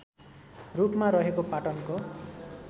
रूपमा रहेको पाटनको